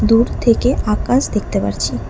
দূর থেকে আকাশ দেখতে পারছি।